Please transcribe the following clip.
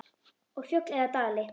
Og fjöll eða dali?